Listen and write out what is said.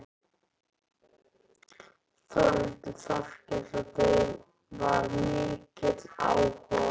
Þórhildur Þorkelsdóttir: Var mikill áhugi á þessu?